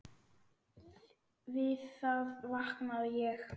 Við það vaknaði ég.